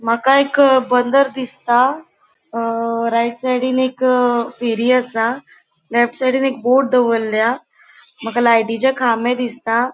माका एक बंदर दिसता. अ राइट साइडीन एक फेरी असा लेफ्ट साइडीन एक बोट दवरल्या माका लाय्टीचे खामे दिसता.